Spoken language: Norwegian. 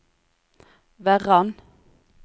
Verran